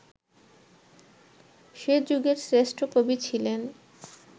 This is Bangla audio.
সে যুগের শ্রেষ্ঠ কবি ছিলেন